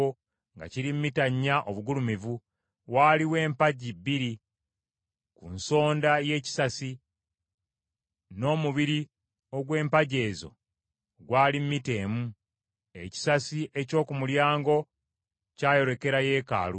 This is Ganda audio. nga kiri mita nnya obugulumivu. Waaliwo empagi bbiri ku nsonda y’ekisasi, n’omubiri ogw’empagi ezo gwali mita emu. Ekisasi eky’oku mulyango kyayolekera yeekaalu.